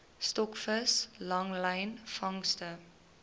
stokvis langlyn vangste